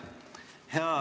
Aitäh!